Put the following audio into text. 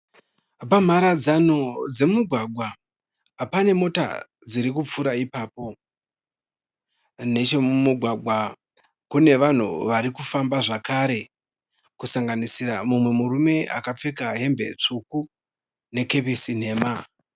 Pamharadzano dzemugwagwa panemota dzirikupfuura ipapo. Neche mumugwagwa kune vanhu varikufamba zvakare kusanganisira mumwe murume akapfeka hembe tsvuku nekepesi nhema.